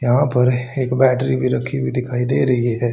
यहां पर एक बैटरी भी रखी हुई दिखाई दे रही है।